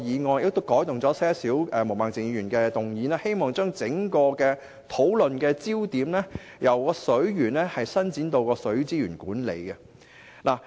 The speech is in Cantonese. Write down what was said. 我亦藉着稍稍更改毛孟靜議員所提議案的內容，希望把整個討論焦點由水源，伸展至水資源管理。